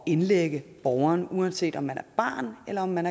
indlægge borgeren uanset om man er barn eller man